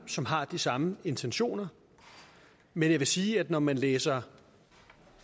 som har de samme intentioner men jeg vil sige at når man læser